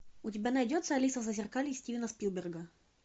у тебя найдется алиса в зазеркалье стивена спилберга